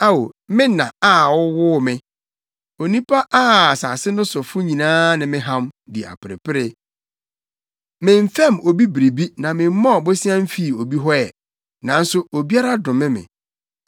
Ao, me na a wowoo me, onipa a asase no sofo nyinaa ne me ham, di aperepere! Memfɛm obi biribi na memmɔɔ bosea mfii obi hɔ ɛ, nanso obiara dome me.